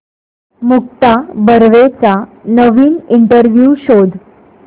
मुक्ता बर्वेचा नवीन इंटरव्ह्यु शोध